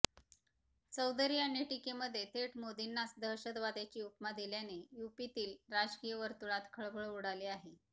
चौधरी यांनी टीकेमध्ये थेट मोदींनाच दहशतवाद्याची उपमा दिल्याने यूपीतील राजकीय वर्तुळात खळबळ उडाली आहे